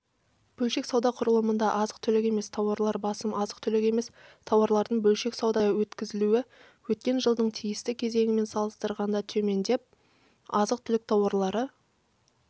бөлшек сауда құрылымында азық-түлік емес тауарлар басым азық-түлік емес тауарлардың бөлшек саудада өткізілуі өткен жылдың тиісті кезеңімен салыстырғанда төмендеп азық-түлік тауарлары